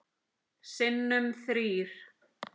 Sinnum þrír.